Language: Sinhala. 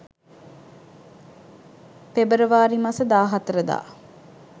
පෙබරවාරි මස 14 දා